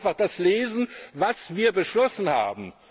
Man sollte einfach das lesen, was wir beschlossen haben.